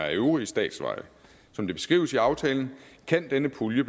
af øvrige statsveje som det beskrives i aftalen kan denne pulje